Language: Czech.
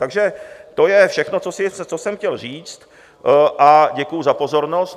Takže to je všechno, co jsem chtěl říct, a děkuju za pozornost.